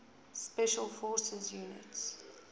special forces units